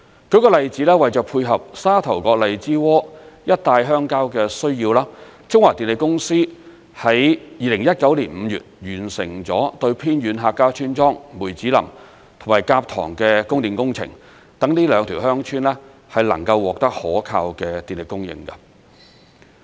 舉個例子，為配合沙頭角荔枝窩一帶鄉郊的需要，中華電力有限公司在2019年5月完成了對偏遠客家村莊梅子林及蛤塘的供電工程，讓這兩條鄉村能夠獲得可靠的電力供應。